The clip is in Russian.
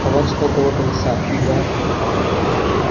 товарищ полковой комиссар я